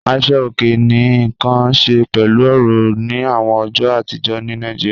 Àṣọ̀ ọ̀kè ní nkàn ṣẹ̀ pẹ̀lú ọ̀rọ̀ ni awọn ọjọ́ àtìjọ̀ ní Naijíríà.